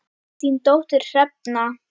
Þín dóttir, Hrefna.